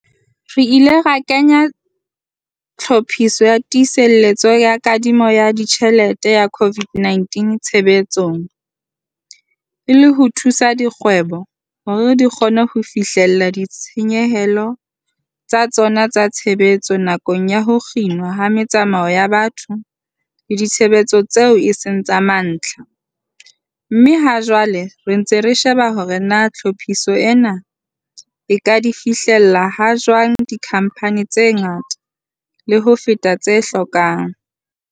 Re ile ra kenya Tlhophiso ya Tiiseletso ya Kadimo ya Ditjhelete ya COVID-19 tshebetsong, e le ho thusa dikgwebo hore di kgone ho fihlella ditshenyehelo tsa tsona tsa tshebetso nakong ya ho kginwa ha metsamao ya batho le ditshebeletso tseo e seng tsa mantlha, mme ha jwale re ntse re sheba hore na tlhophiso ena e ka di fihlella ha jwang dikhamphane tse ngata le ho feta tse hlokang.